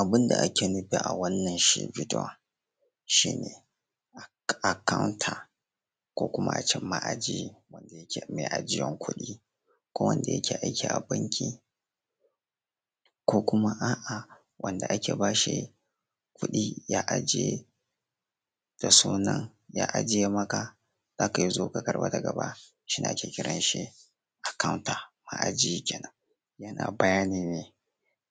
Abun da ake nufi a wannan shi bidiyon shi ne akawnta ko kuma a ce ma'aji ko mai ajiyar kuɗi ko wanda yake aiki a banki ko kuma a'a wanda ake bashi kuɗi ya aje maka za ka zo ka karɓa daga baya, shine ake kiran shi da akawnta ma'aji kenan. Yana bayani ne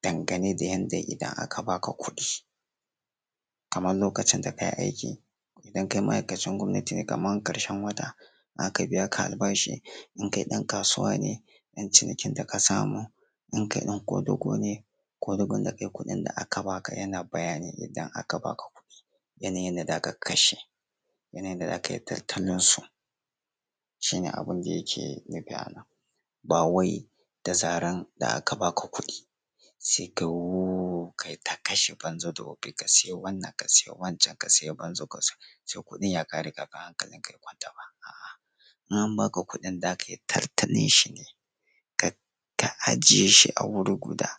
dangane da yanda idan aka ba ka kudi kamar lokacin da ka yi aiki idan kai maaikacin gwamnati ne kamar ƙarshe wata aka biya ka albashi, in kai dan kasuwa ne ɗan cinikin da ka samu, in kai ɗan ƙwadugu ne ƙwadugun da ka yi kuɗin da aka ba ka yana bayani ne idan aka ba ka kuɗi yanayin yadda za ka kashe yanayin yadda za ka tattalinsu shi ne abun da yake nufi a nan. Ba wai da zaran da aka ba ka kuɗi sai ka yi wuuuu kai ta kashe banza da wofi ka sayi wannan ka saye wancan ka sayi banza ka sayi wofi sai kuɗin ya ƙare hankalinka ya kwanta. A'a in an ba ka kuɗin za ka yi tattalin shi ne ka ka ajiye shi a wuri guda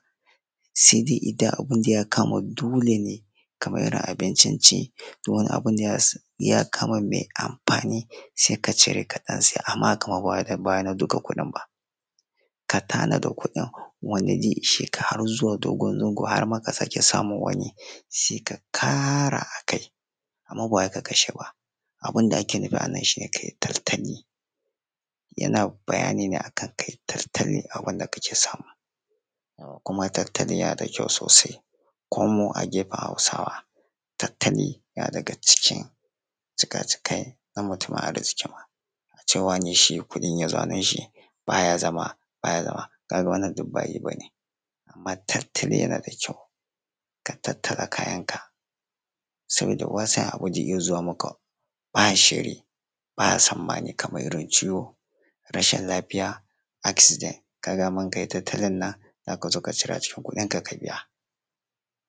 sai dai idan abunda ya kama dole ne kamar irin abincin ci ko wani abu da ya ya kama mai amfani sai ka cire ka ɗan saya, amma shima ba wai duka na kuɗin ba. Ka tanada kuɗin wanda zai ishe ka har zuwa dogon zango har ma ka sake sa mun wani sai ka ƙara a kai amma ba wai ka she ba. Abinda ake nufi a nan ka yi taltali yana bayani ne akan ka yi taltali abun da kake samu, kuma taltali yana da ƙyau sosai .ko mu a gefen Hausawa taltali na daga cikin cika-cikai na mutumin arziki ma, a ce wane in kuɗi ya zo hannun shi ba ya zama ka ga wannan duk ba yi ba ne. Amma taltali yana da ƙyau ka taltala Kayanka saboda wani abu zai iya zuwa maka ba shiri ba tsammani kamar ciwo rashin lafiya accident, ka ga in ka yi taltalin nan za ka zo ka cira a ciki kudinka ka biya.